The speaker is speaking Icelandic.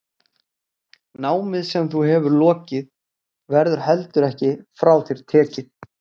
Námið sem þú hefur lokið verður heldur ekki frá þér tekið.